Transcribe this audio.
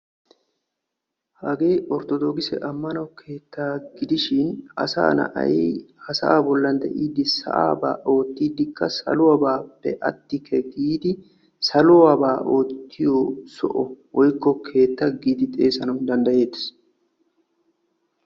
hagee orttodokisse ammano keetta gidishin asaa na'ay ha saa bollan de'iidi saa'aba ootidikka saluwappe aatikke giidi saluwabaa oottiyo soho woykk okeetta giidi xeessanaw danddayettees.